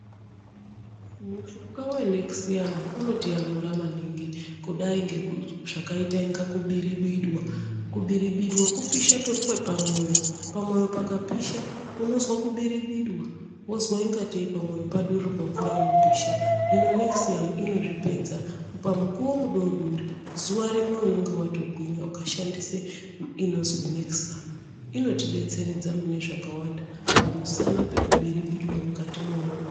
Mushonga weanekisiyamu unotiyamura maningi kudai ngezvakaita inga kubiribidwa. Kubiribidwa kupisha kwepamwoyo. Pamwoyo pakapishwa unozwa kubiribidwa, wozwa ingateyi pamwoyo padurururwa mvura inopisha. Hino anekisiyamu inozvipedza pamukuwo mudodori zuwa rimwe unenge watogwinya ukashandisa inozwi anekisiyamu inotidetseredza munezvakawanda pamusana pekubiribidwa mukati mwemwoyo.